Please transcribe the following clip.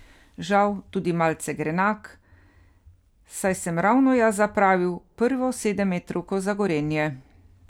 Žal tudi malce grenak, saj sem ravno jaz zapravil prvo sedemmetrovko za Gorenje.